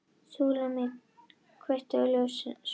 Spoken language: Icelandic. Súlamít, kveiktu á sjónvarpinu.